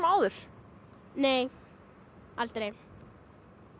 áður nei aldrei